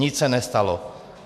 Nic se nestalo.